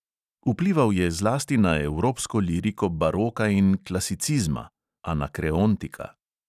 Vplival je zlasti na evropsko liriko baroka in klasicizma